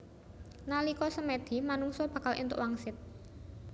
Nalika semèdi manungsa bakal èntuk wangsit